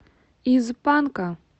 из панка